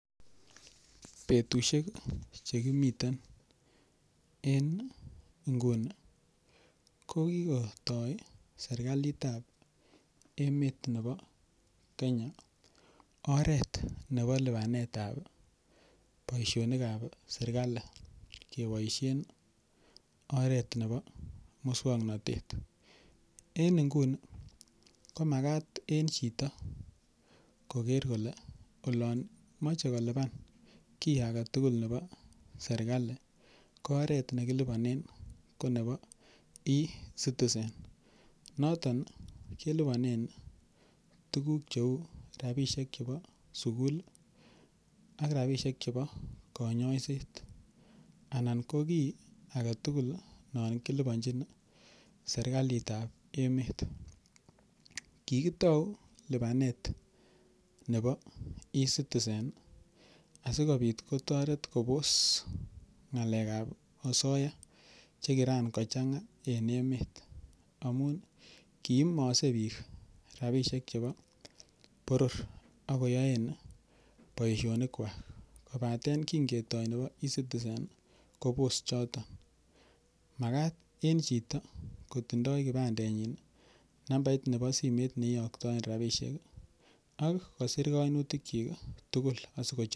Betushek chekimiten eng' nguni kokikotoi serikalitab emet nebo Kenya oret nebo lipanetab boishonik ab serikali keboishen oret nebo muswong'natet en nguni komakat en chito koker kole olon mochei kolipan kii agetugul nebo serikali ko oret nekilipanen ko nebo ecitizen noton kelipanen tukuk cheu rapishek chebo sukul ak rapishek chebo kanyaiset anan ko kii agetugul non kolipanjin serikalitab emet kikitou lipanet nebo ecitizen asikopit kotoret kobose ng'alekab osoya chekirankochang'a en emet amun kiimose biik rapishek chebo boror akoyoen boishonik kwak kobaten kingetoi nebo ecitizen kobos choton makat en chito kotindoi kipandenyin nambait nebo simet neiyoktoen rapishek ak kosir kainutik chi tugul